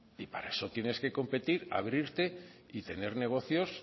y para eso tienes que competir abrirte y tener negocios